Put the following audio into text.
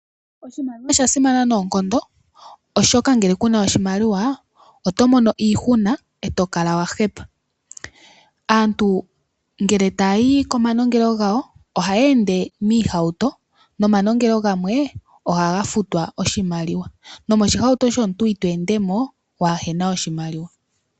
Oshimaliwa osha simana noonkondo, oshika ngele kuna oshimaliwa oto mono iihuna e to kala wa hepa. Aantu ngele taya yi komanongelo gawo, ohaya ende miihauto nomanongelo gamwe ohaga futwa oshimaliwa, nomoshihauto shomuntu ito ende mo waa hena oshimaliwa.